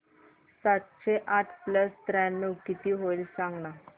सातशे आठ प्लस त्र्याण्णव किती होईल सांगना